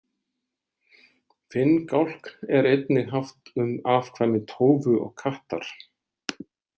Finngálkn er einnig haft um afkvæmi tófu og kattar.